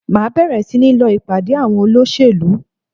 Màá bèrè sí ní lọ ìpàdé àwọn olóṣèlú